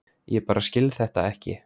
Ég bara skil þetta ekki.